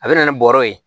A bɛ na ni bɔrɔ ye